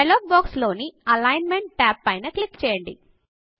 dialog box లోని Alignmentఅలైన్ మెంట్టాబ్ పైన క్లిక్ చేయండి